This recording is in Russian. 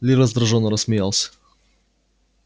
ли раздражённо рассмеялся